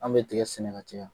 Anw bɛ dingɛ seni ka caya.